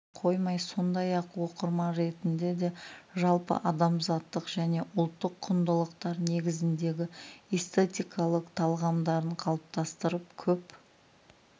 қана қоймай сондай-ақ оқырман ретінде де жалпы адамзаттық және ұлттық құндылықтар негізіндегі эстетикалық талғамдарын қалыптастырып көп